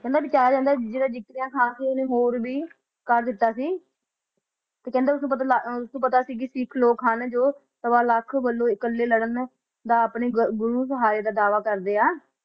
ਕਹਿੰਦੇ ਬਚਾਇਆ ਜਾਂਦਾ ਸੀ ਜੋ ਜਕਰੀਆ ਖਾ ਹੈ ਉਸ ਨੇ ਹੋਰ ਵੀ ਬਹੁਤ ਕੁਝ ਕਰ ਦਿੱਤਾ ਸੀ ਕਹਿੰਦੇ ਉਸ ਨੂੰ ਪਤਾ ਸੀ ਜੋ ਸਿਖ ਲੋਕ ਹਨ ਸਵਾ ਲੱਖ ਨਾਲ ਇਕੱਲੇ ਲੜਨ ਦਾ ਦਾਅਵਾ ਕਰਦੇ ਆ